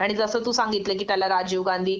आणि जस तू सांगितलं कि त्याला राजीव गांधी